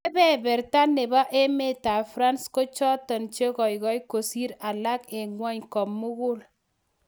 Kebeberta nebo emetab France ko choton che goigoi kosir alak en ng'wony komugul